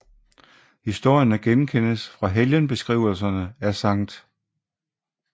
Historierne genkendes fra helgenbeskrivelserne af Skt